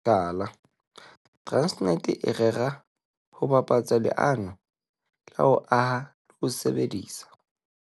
Mohlala, Transnet e rera ho bapatsa leano la ho aha le ho sebedisa